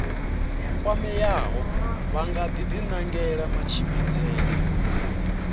kwameaho vha nga dinangela matshimbidzele